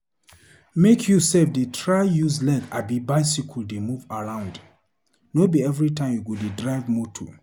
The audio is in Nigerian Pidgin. Make you self dey try use leg abi bicycle dey move around. No be everytime you go dey drive motor.